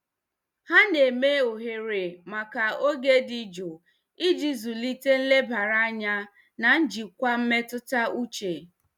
Ha na-eme ohere maka oge dị jụụ iji zụlite nlebara anya na njikwa mmetụta uche.